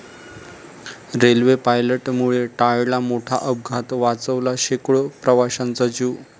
railway पायलटमुळे टळला मोठा अपघात, वाचवला शेकडो प्रवाशांचा जीव